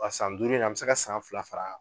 San duuru in na an bɛ se ka san fila fara